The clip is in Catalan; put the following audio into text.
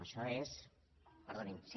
això és perdonin